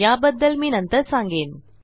याबद्दल मी नंतर सांगेन